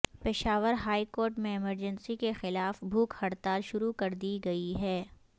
Peshawar high court میں emergency کے خلاف بھوک ہڑتال شروع کر دی گئی ہے